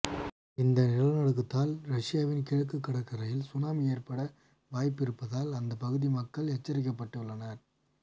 இந்த நிலநடுக்கத்தால் ரஷ்யாவின் கிழக்கு கடற்கரையில் சுனாமி ஏற்பட வாய்ப்பு இருப்பதால் அந்த பகுதி மக்கள் எச்சரிக்கப்பட்டு உள்ளனர்